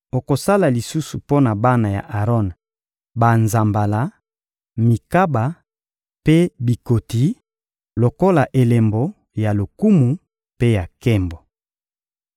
Okosala lisusu mpo na bana ya Aron banzambala, mikaba mpe bikoti, lokola elembo ya lokumu mpe ya nkembo.